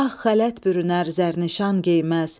Ağ xələt bürünər, zərnişan geyməz.